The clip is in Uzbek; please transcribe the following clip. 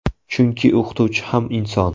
Chunki o‘qituvchi ham inson.